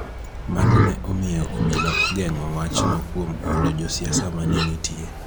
Mano ne omiyo obila ogeng�o wachno kuom oro josiasa ma ne nitie.